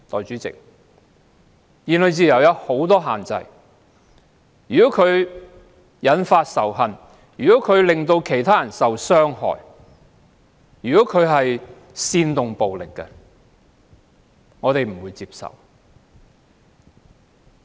如果言論自由引發仇恨或令其他人受到傷害，甚至煽動暴力，我們都不能接受。